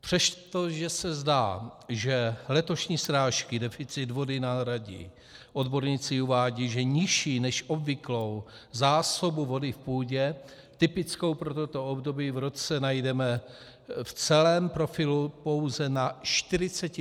Přestože se zdá, že letošní srážky deficit vody nahradí, odborníci uvádějí, že nižší než obvyklou zásobu vody v půdě typickou pro toto období v roce najdeme v celém profilu pouze na 40 % našeho území.